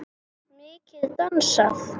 Mikið dansað.